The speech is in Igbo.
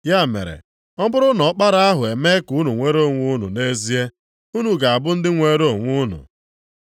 Ya mere, ọ bụrụ na Ọkpara ahụ emee ka unu nwere onwe unu nʼezie, unu ga-abụ ndị nwere onwe unu.